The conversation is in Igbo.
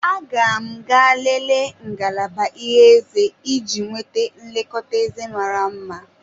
Aga m ga-elele ngalaba ịhe eze iji nweta nlekọta eze mara mma.